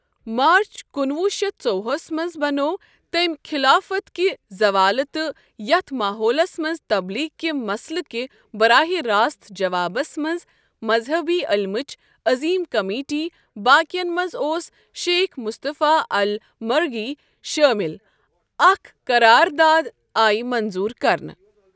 مارٕچ کُنوُہ شیٚتھ ژووُہس مَنٛز بنو تٔمۍ خلافت کہ زوال تہٕ یتھ ماحولس مَنٛز تبلیغ کہ مسئلہٕ کہ براہ راست جوابس مَنٛز مذہبی علمٕچ عظیم کمیٹی باکین منٛز اوس شیخ مصطفی ال مرغی شٲمل اَکھ قرارداد آی منظور کرنہٕ۔